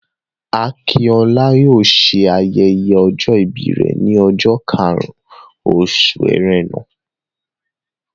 Akinola yóò ṣe ayẹyẹ ọjọ ìbí rẹ ní ọjọ́ karùn-ún oṣù Ẹrẹ́nà.